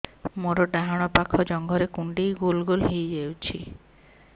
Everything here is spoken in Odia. ମୋର ଡାହାଣ ପାଖ ଜଙ୍ଘରେ କୁଣ୍ଡେଇ ଗୋଲ ଗୋଲ ହେଇଯାଉଛି